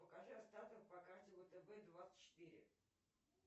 покажи остаток по карте втб двадцать четыре